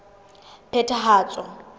phethahatso